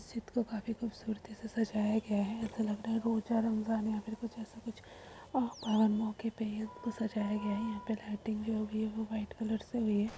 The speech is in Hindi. इस को काफी खूब सूरती से सजाया गया है ऐसा लगता है रोजा रमजान कुछ और बड़े मौके पे सजाया गया है यहाँ लाइटिंग भी जो हुई है वो व्हाइट कलर से हुई है।